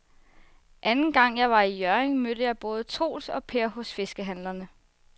Anden gang jeg var i Hjørring, mødte jeg både Troels og Per hos fiskehandlerne.